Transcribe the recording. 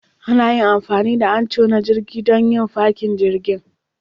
Ana amfani da Anchor na jirgin don yin fakin jirgin